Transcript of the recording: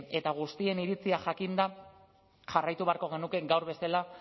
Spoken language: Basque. eta guztien iritzia jakinda jarraitu beharko genuke gaur bestela